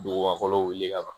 Duguba fɔlɔ wuli ka ban